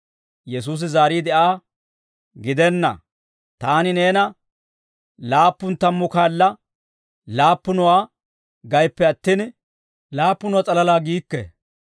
Yesuusi zaariide Aa, «Gidenna, taani neena laappun tammu kaala laappunuwaa gayippe attin, laappunuwaa s'alalaa giikke.